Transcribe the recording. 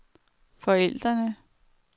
forældrene